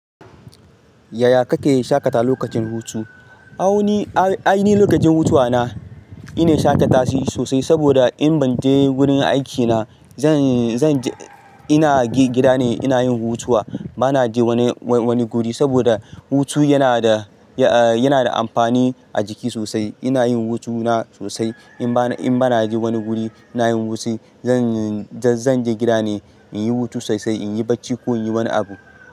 Yaya ka ke shakata lokacin hutu? A wani lokacin hutuwa na, ina shakata sosai saboda in ban je wurin aikina zan, zan je ina gida ne ina yin hutuwa. Ba na je wani, wani guri saboda hutu yana da, yana da amfani a jiki sosai. Ina yin hutuna sosai. In ba, in ba na je wani guri na yin hutu, zan je gida ne in yi hutu sosai, in yi bacci ko in yi wani abu.